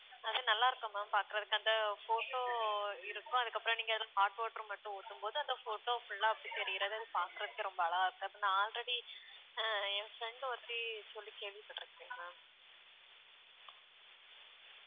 அது நல்லா இருக்கும் ma'am பாக்குறதுக்கு அந்த photo இருக்கும் அதுக்கப்புறம் நீங்க ஏதும் hot water மட்டும் ஊத்தும்போது அந்த photo full ஆ அப்படி தெரியறதுன்னு பாக்குறதுக்கே ரொம்ப அழகா இருக்கா~ நான் already ஆ என் friend ஒருத்தி சொல்லி கேள்விப்பட்டிருக்கேன் ma'am